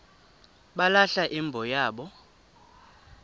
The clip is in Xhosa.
balahla imbo yabo